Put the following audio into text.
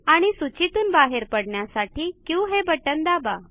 आणि सूचीतून बाहेर पडण्यासाठी क्यू हे बटण दाबा